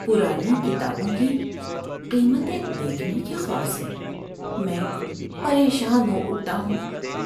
پرانی کتابوں کی قیمتیں دیکھنے کے خوف سے میں پریشان ہو اٹھتا ہوں۔